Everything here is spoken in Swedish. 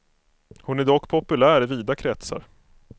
Hon är dock populär i vida kretsar.